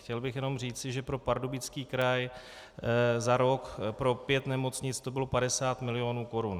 Chtěl bych jenom říci, že pro Pardubický kraj za rok pro pět nemocnic to bylo 50 milionů korun.